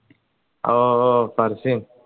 ഓ ഓ ഫർസിന്